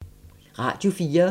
Radio 4